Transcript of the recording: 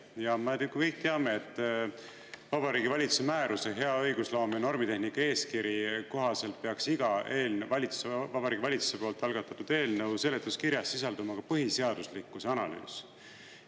Ja me kõik teame, et Vabariigi Valitsuse määruse "Hea õigusloome ja normitehnika eeskiri" kohaselt peaks iga Vabariigi Valitsuse poolt algatatud eelnõu seletuskirjas sisalduma ka põhiseaduslikkuse analüüs.